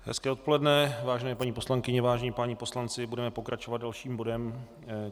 Hezké odpoledne, vážené paní poslankyně, vážení páni poslanci, budeme pokračovat dalším bodem.